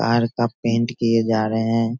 Park का paint किए जा रहे हैं।